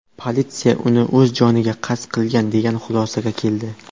Politsiya uni o‘z joniga qasd qilgan degan xulosaga keldi.